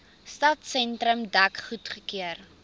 stadsentrum dek goedgekeur